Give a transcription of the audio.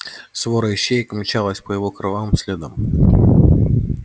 свора ищеек мчалась по его кровавым следам